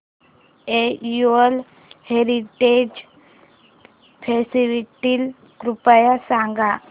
annual heritage festival कृपया सांगा